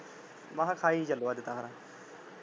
ਮੈਂ ਕਿਹਾ ਖਾਈ ਚੱਲੋ ਅੱਜ ਤਾਂ ਫੇਰ।